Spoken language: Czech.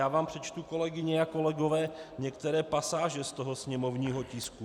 Já vám přečtu, kolegyně a kolegové, některé pasáže z toho sněmovního tisku.